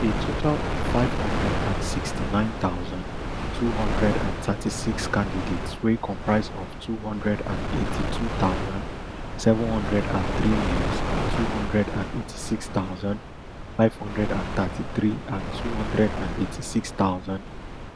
a total of five hundred and sixty-nine thousand, two hundred and thirty-six candidates wey comprise of two hundred and eighty-two thousand, seven hundred and three males and two hundred and eighty-six thousand, five hundred and thirty-three and two hundred and eighty-six thousand,